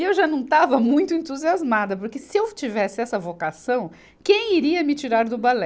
E eu já não estava muito entusiasmada, porque se eu tivesse essa vocação, quem iria me tirar do balé?